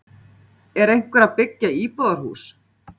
Er einhver að byggja íbúðarhús?